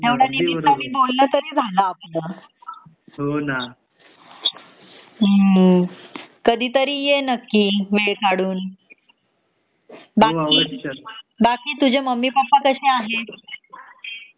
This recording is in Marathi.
तेव्हढया निमित्तानी बोलन तरी झाल आपल कधीतरी ये नक्की वेळ काढून बाकी बाकी तूझे मम्मी पप्पा कशे आहेत